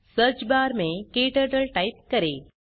search bar में क्टर्टल type करें